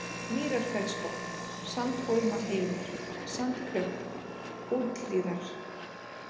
Mýrarfellsbotn, Sandhólmahylur, Sandklöpp, Úthlíðar